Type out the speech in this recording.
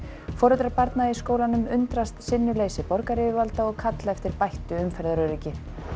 foreldrar barna í skólanum undrast sinnuleysi borgaryfirvalda og kalla eftir bættu umferðaröryggi